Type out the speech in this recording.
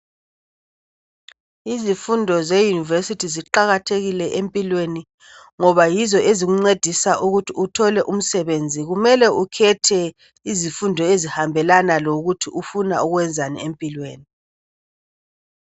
Izifundo leyunivesithi ziqakathekile empilweni ngoba yizo ezikuncedisa ukuthi uthole umsebenzi. Kumele ukhethe izifundo ezihambelana lokuthi ufuna ukwenzani empilweni.